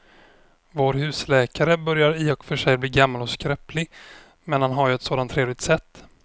Vår husläkare börjar i och för sig bli gammal och skröplig, men han har ju ett sådant trevligt sätt!